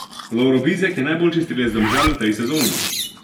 Lovro Bizjak je najboljši strelec Domžal v tej sezoni.